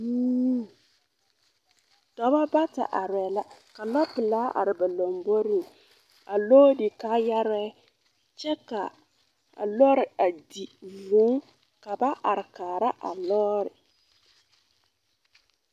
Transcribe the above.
Dɔbɔ bata arɛɛ la ka lɔ-pelaa are ba lomboriŋ a loodi kaayarɛɛ kyɛ ka a lɔre a di vūū ka ba are kaara a lɔɔre.